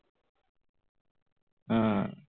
হম